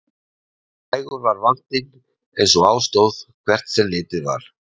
Nægur var vandinn eins og á stóð, hvert sem litið var.